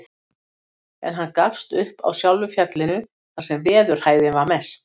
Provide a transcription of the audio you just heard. En hann gafst upp á sjálfu fjallinu, þar sem veðurhæðin var mest.